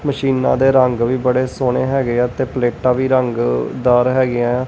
ਮਸ਼ੀਨਾਂ ਦੇ ਰੰਗ ਵੀ ਬੜੇ ਸੋਹਣੇ ਹੈਗੇ ਹੈਂ ਤੇ ਪਲੇਟਾਂ ਵੀ ਰੰਗਦਾਰ ਹੈਗੀਆਂ ਹੈਂ।